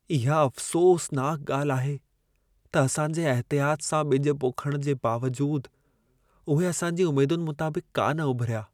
इहा अफ़सोसनाकु ॻाल्हि आहे त असांजे अहतियाति सां बि॒ज पोखण जे बावजूदु , उहे असांजी उमेदनि मुताबिक़ु कान उभिरिया।